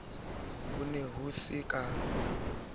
ho ne ho se ka